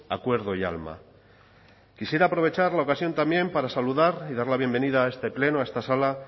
acuerdo y alma quisiera aprovechar la ocasión también para saludar y dar la bienvenida a este pleno a esta sala